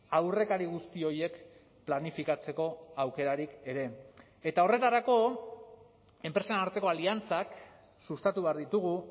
aurrekari guzti horiek planifikatzeko aukerarik ere eta horretarako enpresen arteko aliantzak sustatu behar ditugu